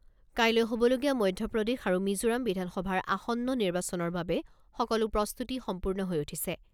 কাইলৈ হ'বলগীয়া মধ্যপ্ৰদেশ আৰু মিজোৰাম বিধানসভাৰ আসন্ন নিৰ্বাচনৰ বাবে সকলো প্ৰস্তুতি সম্পূৰ্ণ হৈ উঠিছে।